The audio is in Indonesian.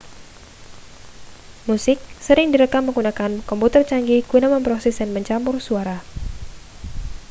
musik sering direkam menggunakan komputer canggih guna memproses dan mencampur suara